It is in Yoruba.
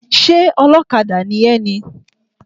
Ṣé ọlọ́kadà ni ẹ ni?